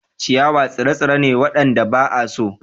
Ciyawa tsire-tsire ne waɗanda ba a so.